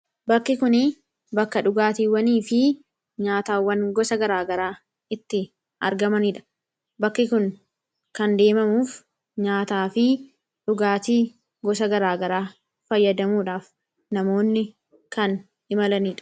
bakki kuni bakka dhugaatiiwwanii fi nyaataawwan gosa garaagaraa itti argamaniidha bakki kun kan deemamuuf nyaataa fi dhugaatii gosa garaagaraa fayyadamuudhaaf namoonni kan imalaniidha